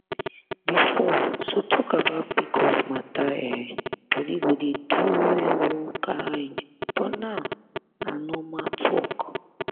before to talk about pcos matter[um]body go dey do you one kind but now na normal talk.